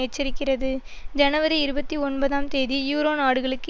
எச்சரிக்கிறது ஜனவரி இருபத்தி ஒன்பதாம் தேதி யூரோ நாடுகளுக்கு